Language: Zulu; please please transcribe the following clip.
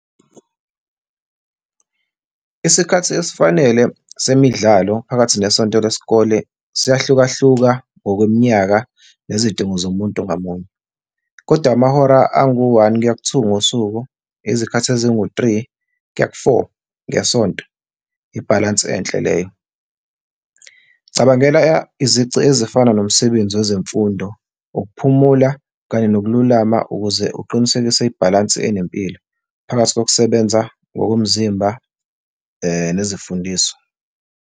Isikhathi esifanele semidlalo phakathi nesonto lesikole siyahlukahluka ngokweminyaka nezidingo zomuntu ngamunye, kodwa amahora angu-one kuya ku-two ngosuku, izikhathi ezingu-three kuya ku-four ngesonto, ibhalansi enhle leyo. Cabangela izici ezifana nomsebenzi wezemfundo, ukuphumula kanye nokululama ukuze uqinisekise ibhalansi enempilo phakathi kokusebenza ngokomzimba nezifundiso.